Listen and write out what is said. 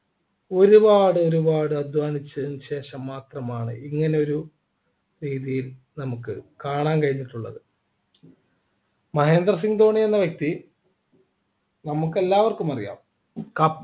ഒരുപാട് ഒരുപാട് അധ്വാനിച്ചതിനുശേഷം മാത്രമാണ് ഇങ്ങനെ ഒരു രീതിയിൽ നമുക്ക് കാണാൻ കഴിഞ്ഞിട്ടുള്ളത മഹേന്ദ്ര സിംഗ് ധോണി എന്ന വ്യക്തി നമുക്ക് എല്ലാവർക്കും അറിയാം